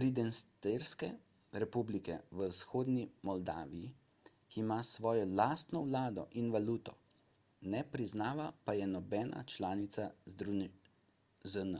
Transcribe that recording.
pridnestrske republike v vzhodni moldaviji ki ima svojo lastno vlado in valuto ne priznava pa je nobena članica zn